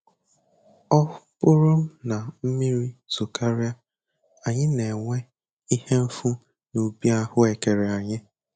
Ọ bụrụ na mmiri zokarịa, anyị na-enwe ihe mfu n'ubi ahụekere anyị